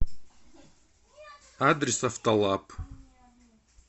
адрес автолаб